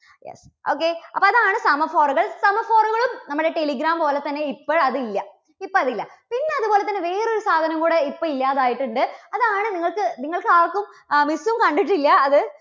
okay അപ്പോൾ അതാണ് semaphore കൾ. semaphore കളും നമ്മുടെ telegram പോലെ തന്നെ ഇപ്പോൾ അത് ഇല്ല. ഇപ്പോൾ അത് ഇല്ല. പിന്നെ അതുപോലെ തന്നെ വേറെ ഒരു സാധനം കൂടെ ഇപ്പോൾ ഇല്ലാതെ ആയിട്ടുണ്ട്. അതാണ് നിങ്ങൾക്ക് നിങ്ങൾക്ക് ആർക്കും ആ miss ഉം കണ്ടിട്ടില്ല അത്